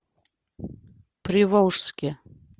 приволжске